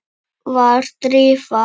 Var Drífa?